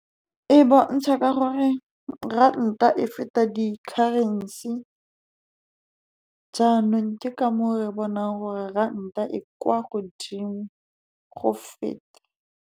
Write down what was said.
E bontsha ka gore ranta e feta di-currency, jaanong ka moo re bonang gore ranta e kwa godimo go feta.